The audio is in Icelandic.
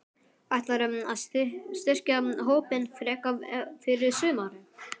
Ætlarðu að styrkja hópinn frekar fyrir sumarið?